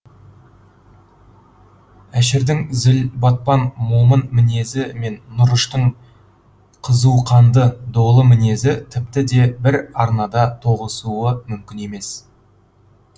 әшірдің зіл батпан момын мінезі мен нұрыштың қызу қанды долы мінезі тіпті де бір арнада тоғысуы мүмкін емес